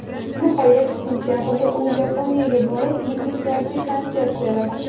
Nihoyat sentabrda u Yaponiyaga borib, muxlislarga konsert beradi.